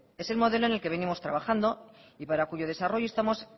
es el modelo en el que venimos trabajando y para cuyo desarrollo estamos